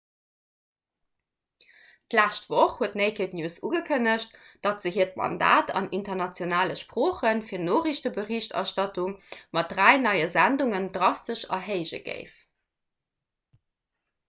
d'lescht woch huet naked news ugekënnegt datt se hiert mandat an internationale sprooche fir noriichteberichterstattung mat dräi neie sendungen drastesch erhéije géif